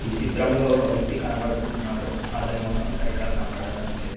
చిత్రంలో ఒక వ్యక్తి కనపడుతూ ఉన్నాడు అతని మొకం సరిగ్గా కనపడటం లేదు